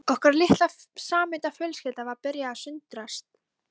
Okkar litla og samhenta fjölskylda var að byrja að sundrast